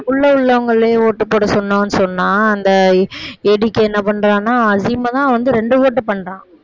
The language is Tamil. உள்ள உள்ளவங்களையே ஓட்டு போட சொன்னோன்னு சொன்னா அந்த ஏடிகே என்ன பண்றான்னா அசீமைதான் வந்து ரெண்டு ஓட்டு பண்றான்